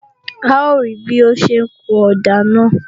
A ó rí bí ó ń ṣe ń kun ọ̀dà náà